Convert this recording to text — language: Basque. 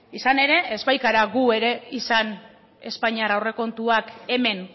izan ere ez baikara gu ere izan espainiar aurrekontuak hemen